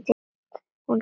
Hún sá það.